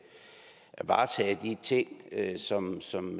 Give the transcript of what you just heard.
varetage de ting som som